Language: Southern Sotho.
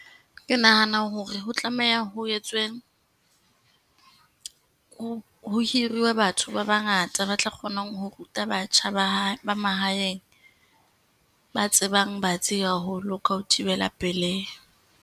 Ke nahana hore ho tlameha ho etswe, ho hiriwe batho ba bangata ba tla kgonang ho ruta batjha ba ba mahaeng, ba tsebang batsi haholo ka ho thibela pelehi.